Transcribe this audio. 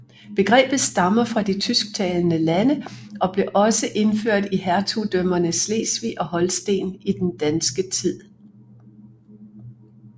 Begrebet stammer fra de tysktalende lande og blev også indført i hertugdømmerne Slesvig og Holsten i den danske tid